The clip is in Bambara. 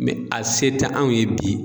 Mɛ a se tɛ anw ye bi